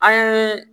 An ye